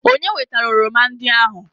Onye wetara oroma ndị ahụ?